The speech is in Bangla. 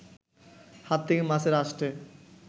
হাত থেকে মাছের আঁশটে